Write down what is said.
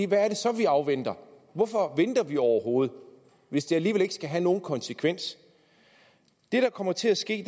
hvad er det så vi afventer hvorfor venter vi overhovedet hvis det alligevel ikke skal have nogen konsekvens det der kommer til at ske